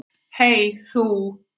Hey þú.